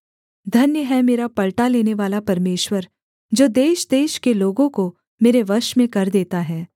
धन्य है मेरा पलटा लेनेवाला परमेश्वर जो देशदेश के लोगों को मेरे वश में कर देता है